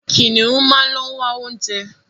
Kìnìún máa ń ló wá oúnjẹ.